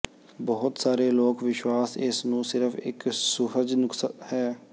ਬਹੁਤ ਸਾਰੇ ਲੋਕ ਵਿਸ਼ਵਾਸ ਇਸ ਨੂੰ ਸਿਰਫ ਇੱਕ ਸੁਹਜ ਨੁਕਸ ਹੈ